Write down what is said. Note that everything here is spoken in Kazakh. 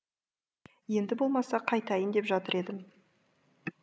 енді болмаса қайтайын деп жатыр едім